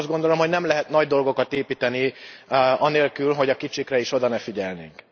Azt gondolom, hogy nem lehet nagy dolgokat építeni anélkül, hogy a kicsikre oda ne figyelnénk.